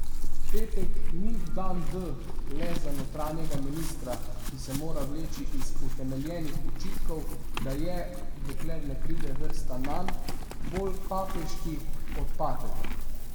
Petek ni dan D le za notranjega ministra, ki se mora vleči iz utemeljenih očitkov, da je, dokler ne pride vrsta nanj, bolj papeški od papeža.